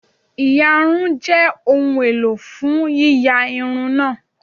íyarún jẹ ohun elò fun yiya irun naa